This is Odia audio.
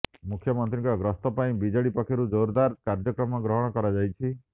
ମୁଖ୍ୟମନ୍ତ୍ରୀଙ୍କ ଗସ୍ତ ପାଇଁ ବିଜେଡି ପକ୍ଷରୁ ଜୋରଦାର କାର୍ଯ୍ୟକ୍ରମ ଗ୍ରହଣ କରାଯାଇଛି